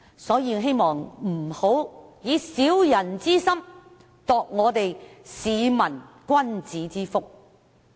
所以，希望大家不要以"小人之心，度市民君子之腹"。